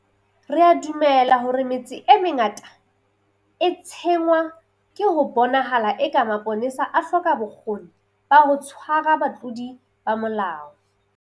Re a dumela hore metse e mengata e tshwenngwa ke ho bonahalang eka mapolesa a hloka bokgoni ba ho tshwara batlodi ba molao.